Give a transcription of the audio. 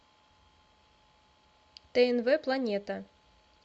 тнв планета